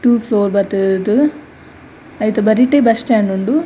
To floor ಬತ್ತ್ ದ್ ಐತ ಬರಿಟೇ ಬಸ್ಸ್ ಸ್ಟ್ಯಾಂಡ್ ಉಂಡು.